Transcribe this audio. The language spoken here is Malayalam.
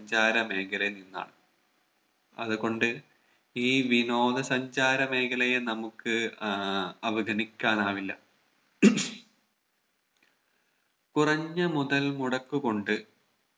സഞ്ചാര മേഖലയിൽ നിന്നാണ് അതുകൊണ്ട് ഈ വിനോദ സഞ്ചാര മേഖലയെ നമുക്ക് ആഹ് അവഗണിക്കാൻ ആവില്ല കുറഞ്ഞ മുതൽ മുടക്ക് കൊണ്ട്